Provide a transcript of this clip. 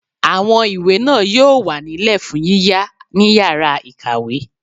Àwọn ìwé náà yóò wà nílẹ̀ fún yíyá ní yàrá-ìkàwé